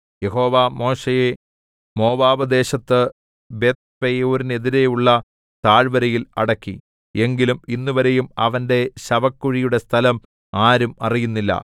യഹോവ മോശെയെ മോവാബ്‌ദേശത്ത് ബേത്ത്പെയോരിനെതിരെയുള്ള താഴ്വരയിൽ അടക്കി എങ്കിലും ഇന്നുവരെയും അവന്റെ ശവക്കുഴിയുടെ സ്ഥലം ആരും അറിയുന്നില്ല